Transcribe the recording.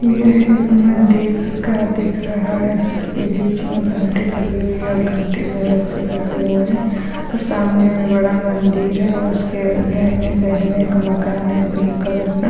यह एक मंदिर सा दिख रहा है जिसके बीच में घंटी लगी हुई है और घंटी में रस्सी लगे हुए हैं और सामने में बड़ा मंदिर है और उसके दाहिने साइड में एक मकान है पिंक कलर का।